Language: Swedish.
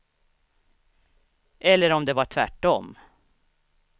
Eller om det var tvärt om.